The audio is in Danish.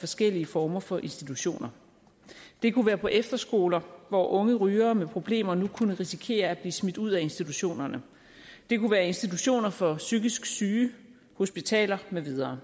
forskellige former for institutioner det kunne være på efterskoler hvor unge rygere med problemer nu kunne risikere at blive smidt ud af institutionerne det kunne være institutioner for psykisk syge hospitaler med videre